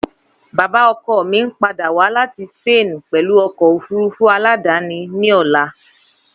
Baba ọkọ mi n pada wa lati Spain pẹlu ọkọ ofurufu aladani ni ọla.